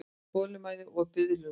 Þolinmæði og biðlund.